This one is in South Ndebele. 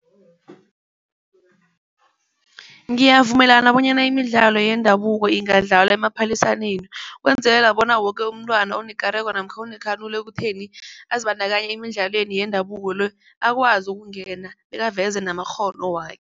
Ngiyavumelana bonyana imidlalo yendabuko ingadlalwa emaphaliswaneni ukwenzelela bona woke umntwana onekareko namkha onekhanuko ekutheni azibandakanye emidlalweni yendabuko le akwazi ukungena bekaveze namakghono wakhe.